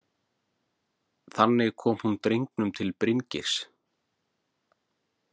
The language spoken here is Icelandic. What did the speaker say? Þannig kom hún drengnum til Bryngeirs.